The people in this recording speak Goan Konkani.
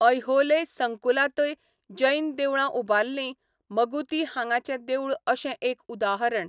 ऐहोले संकुलांतय जैन देवळां उबारलीं, मगुती हांगाचें देवूळ अशें एक उदाहरण.